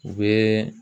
U bɛ